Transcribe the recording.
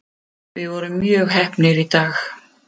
Við vorum mjög heppnir í dag.